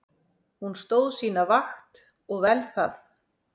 Hún stóð sína vakt og vel það.